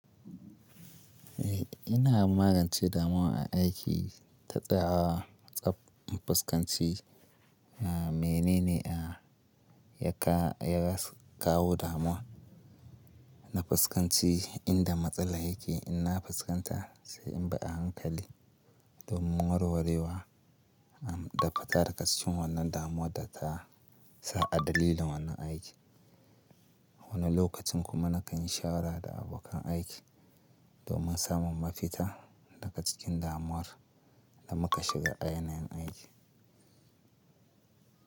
Eh ina magance damuwa aiki ta tsayawa tsab a fuskanci na mene ne a ya ka yas kawo damuwa na fuskanci inda matsala yake in na fuskanta sai in bi a hankali domin warwarewa da fita daga cikin wannan damuwa da ta sa a dalilin wannan aiki. Wani lokacin kuma na kan yi shawara da abokan aiki domin samun mafita daga cikin damuwar da muka shiga a yanayin aiki.